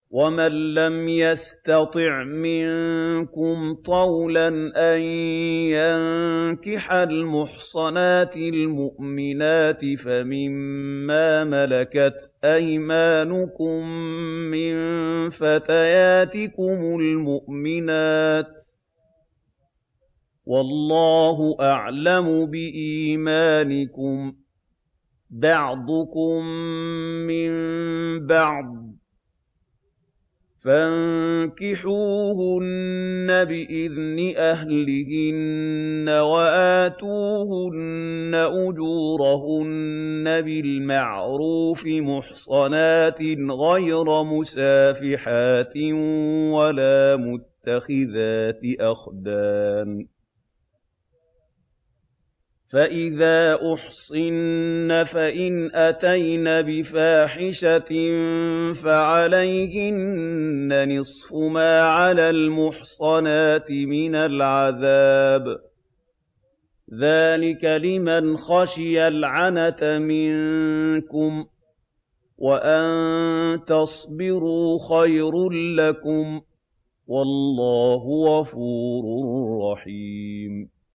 وَمَن لَّمْ يَسْتَطِعْ مِنكُمْ طَوْلًا أَن يَنكِحَ الْمُحْصَنَاتِ الْمُؤْمِنَاتِ فَمِن مَّا مَلَكَتْ أَيْمَانُكُم مِّن فَتَيَاتِكُمُ الْمُؤْمِنَاتِ ۚ وَاللَّهُ أَعْلَمُ بِإِيمَانِكُم ۚ بَعْضُكُم مِّن بَعْضٍ ۚ فَانكِحُوهُنَّ بِإِذْنِ أَهْلِهِنَّ وَآتُوهُنَّ أُجُورَهُنَّ بِالْمَعْرُوفِ مُحْصَنَاتٍ غَيْرَ مُسَافِحَاتٍ وَلَا مُتَّخِذَاتِ أَخْدَانٍ ۚ فَإِذَا أُحْصِنَّ فَإِنْ أَتَيْنَ بِفَاحِشَةٍ فَعَلَيْهِنَّ نِصْفُ مَا عَلَى الْمُحْصَنَاتِ مِنَ الْعَذَابِ ۚ ذَٰلِكَ لِمَنْ خَشِيَ الْعَنَتَ مِنكُمْ ۚ وَأَن تَصْبِرُوا خَيْرٌ لَّكُمْ ۗ وَاللَّهُ غَفُورٌ رَّحِيمٌ